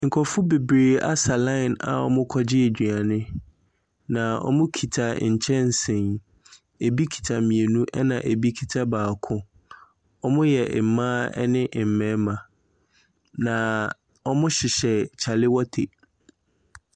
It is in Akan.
Nkurɔfo bebree asa line a wɔrekɔgye aduane, na wɔkita nkyɛnse, ɛbi kita mmienu ɛna ɛbi kita baako. Wɔyɛ mmaa ɛne mmarima, na wɔhyehyɛ kyalewete.